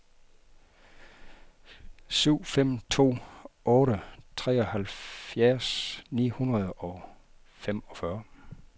syv fem to otte treoghalvfjerds ni hundrede og femogfyrre